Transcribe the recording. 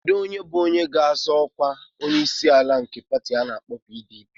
Kedu onye bụ onye ga-azọ ọkwa onyeisiala nke pati ana-akpo PDP?